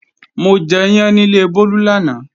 Mo jẹyán níle Bólú lánàá